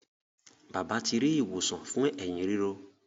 Bàbá ti ri ìwòsàn fún Ẹ̀hín ríro.